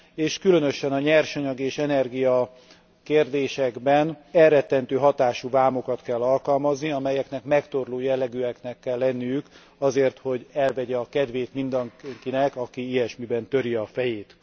és különösen a nyersanyag és energiakérdésekben elrettentő hatású vámokat kell alkalmazni, amelyeknek megtorló jellegűeknek kell lenniük azért, hogy elvegyék a kedvét mindenkinek, aki ilyesmiben töri a fejét.